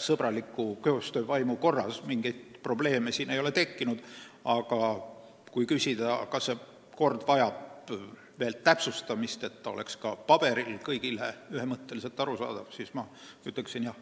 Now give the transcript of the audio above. sõbraliku koostöövaimu korras, mingeid probleeme ei ole tekkinud, aga kui küsida, kas see kord vajab veel täpsustamist, et ta oleks ka paberil kõigile ühemõtteliselt arusaadav, siis ma ütleksin: jah.